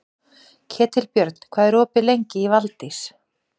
Ketilbjörn, hvað er opið lengi í Valdís?